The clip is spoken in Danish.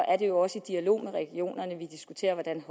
er det jo også i dialog med regionerne vi diskuterer hvordan